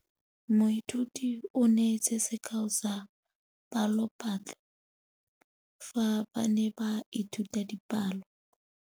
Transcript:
Moithuti o neetse sekaô sa palophatlo fa ba ne ba ithuta dipalo.